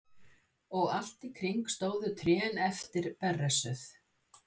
Og allt í kring stóðu trén eftir berrössuð.